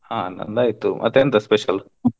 ಹ ನಂದ ಆಯಿತು ಮತ್ ಎಂತ special? .